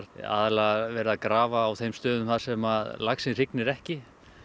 aðallega verið að grafa á þeim stöðum þar sem laxinn hrygnir ekki